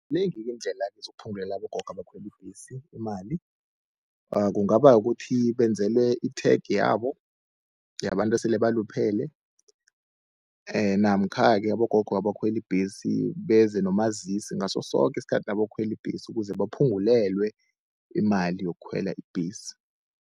Zinengi-ke iindlela zokuphungulela abogogo abakhwela ibhesi imali, kungaba kukuthi benzelwe i-tag yabo yabantu esele baluphele. Namkha-ke abogogo abakhwela ibhesi, beze nomazisi ngaso soke isikhathi nabayokukhwela ibhesi, ukuze baphungulelwe imali yokukhwela ibhesi.